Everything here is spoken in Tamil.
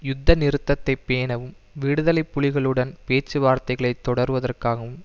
யுத்த நிறுத்தத்தை பேணவும் விடுதலை புலிகளுடன் பேச்சுவார்த்தைகளை தொடர்வதற்காவும்